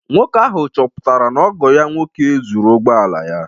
Nwoke ahụ chọpụtara na ọgọ ya nwoke zuru ụgbọ ala ya